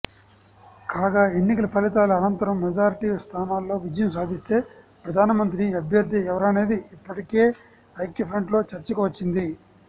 కాగా ఎన్నికల ఫలితాల అనంతరం మెజారిటీ స్థానాల్లో విజయం సాధిస్తే ప్రధానమంత్రి అభ్యర్థి ఎవరనేది ఇప్పటికే ఐక్యఫ్రంట్లో చర్చకు వచ్చింది